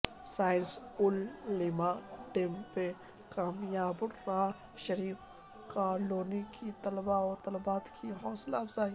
science اولمپیاڈمیں کامیاب Alhira Sharif colony کے طلبہ وطالبات کی حوصلہ افزائی